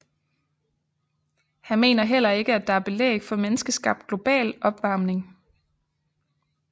Han mener heller ikke at der er belæg for menneskeskabt global opvarmning